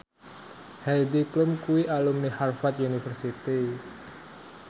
Heidi Klum kuwi alumni Harvard university